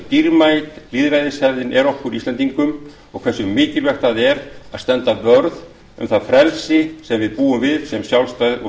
hversu dýrmæt lýðræðishefðin er okkur íslendingum og hversu mikilvægt það er að standa vörð um það frelsi sem við búum við sem sjálfstæð og